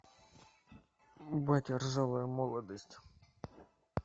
батя ржавая молодость